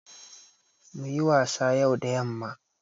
Muyi wasa yau da yamma